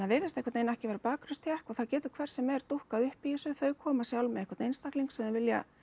virðist einhvern veginn ekki vera og það getur hver sem er dúkkað upp í þessu þau koma sjálf með einhvern einstakling sem þau vilja